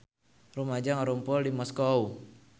Rumaja ngarumpul di Moskow